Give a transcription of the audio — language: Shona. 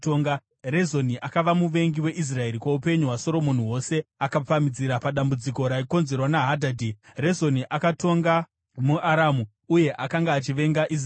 Rezoni akava muvengi weIsraeri kwoupenyu hwaSoromoni hwose, akapamhidzira padambudziko raikonzerwa naHadhadhi. Rezoni akatonga muAramu uye akanga achivenga Israeri.